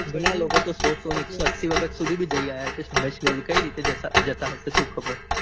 જુના લોકો તો સો સો ને એકસો અસ્સી વખત સુધી બી જઈ આવ્યા હશે સમાંર્શીખર કઈ રીતે જતા હશે સુ ખબ